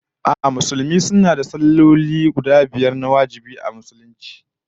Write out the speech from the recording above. A'a, Musulmi suna da salloli na wajibai guda biyar a rana